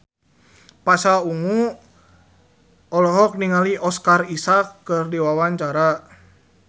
Pasha Ungu olohok ningali Oscar Isaac keur diwawancara